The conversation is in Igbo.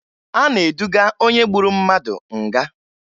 A na-eduga onye gburu mmadụ nga